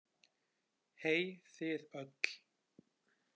Hey þið öll